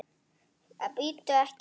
Bíddu. ekki hérna!